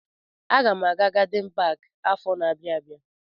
Aga m aga gadin paki afọ na-abịa abịa.